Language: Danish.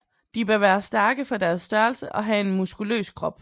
De bør være stærke for deres størrelse og have en muskuløs krop